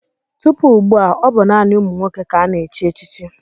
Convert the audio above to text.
Tupu ugbu a, ọ bụ naanị ụmụ nwoke ka a na-echi echichi.